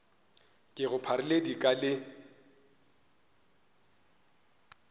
ke go pharile dika le